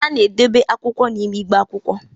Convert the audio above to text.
a na-edobe akwụkwọ n'ime igbe akwụkwọ